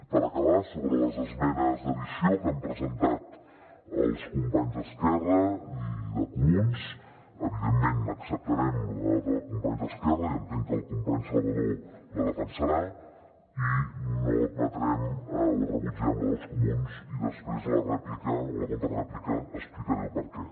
per acabar sobre les esmenes d’addició que han presentat els companys d’esquerra i de comuns evidentment acceptarem la dels companys d’esquerra i entenc que el company salvadó la defensarà i rebutgem la dels comuns i després a la contrarèplica explicaré per què